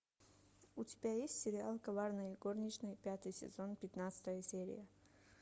у тебя есть сериал коварные горничные пятый сезон пятнадцатая серия